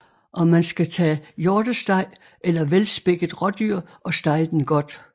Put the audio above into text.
Og man skal tage hjortesteg eller velspækket rådyr og stege den godt